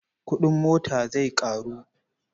Kuɗin mota zai ƙaru.